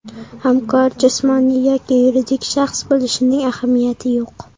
Hamkor jismoniy yoki yuridik shaxs bo‘lishining ahamiyati yo‘q!